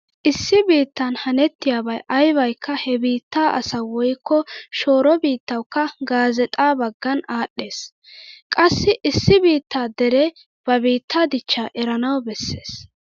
Issi biittan hanettiyabay aybaykka he biitta asawu woykko shooro biittawukka gaazeexaa baggan aadhdhees. Qassi issi biittaa deree ba biittaa dichchaa erana bessees.